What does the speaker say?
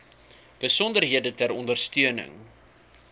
besonderhede ter ondersteuning